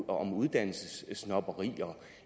om uddannelsessnobberi